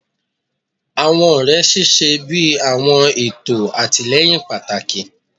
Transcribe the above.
Awọn ọrẹ ṣiṣẹ bi awọn eto atilẹyin pataki